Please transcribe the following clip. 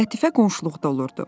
Lətifə qonşuluqda olurdu.